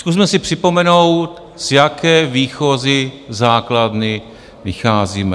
Zkusme si připomenout, z jaké výchozí základny vycházíme.